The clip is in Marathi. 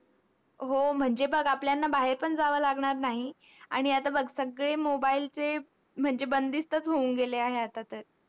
हो, म्हणजे बघ आपल्याला बाहेर पण जावं लागणार नाही आणि आता बघ सगळे mobile चे म्हणजे बंदिस्तच होऊन गेले आहे आता तर.